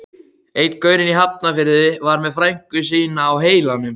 Einn gaurinn í Hafnarfirði var með frænku sína á heilanum.